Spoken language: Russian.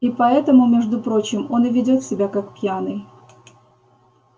и поэтому между прочим он и ведёт себя как пьяный